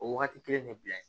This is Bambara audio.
O wagati kelen ne bila